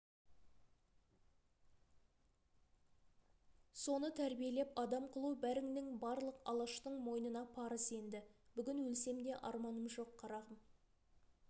соны тәрбиелеп адам қылу бәріңнің барлық алаштың мойнына парыз енді бүгін өлсем де арманым жоқ қарағым